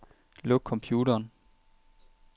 Luk computeren.